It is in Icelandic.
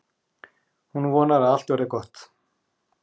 Hún vonar að allt verði gott.